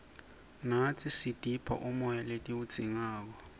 natsi sitipha umoya letiwudzingako